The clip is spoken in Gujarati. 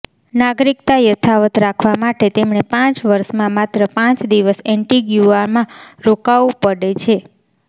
નાગરિકતા યથાવત રાખવા માટે તેમણે પાંચ વર્ષમાં માત્ર પાંચ દિવસ એન્ટીગુઆમાં રોકાવું પડે છે